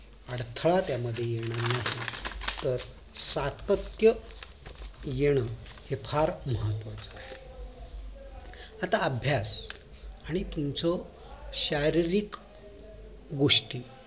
अडथळा त्या मध्ये येणार नाही त्यात सत्यात येऊन फार महत्वाचं आहे आता अभ्यास आणि तुमचं शारीरिक गोष्टी